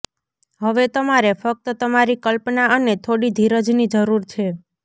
હવે તમારે ફક્ત તમારી કલ્પના અને થોડી ધીરજની જરૂર છે